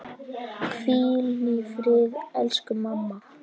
Hvíl í friði elsku mamma.